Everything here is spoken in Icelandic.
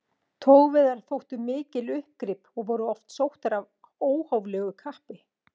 Togveiðar þóttu mikil uppgrip og voru oft sóttar af óhóflegu kappi.